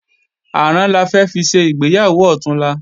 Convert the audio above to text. Àrán la fẹ́ fi ṣe ìgbéyàwó ọ̀túnla